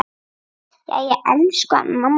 Jæja, elsku mamma mín.